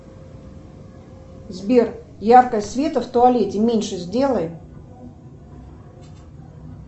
сбер яркость света в туалете меньше сделай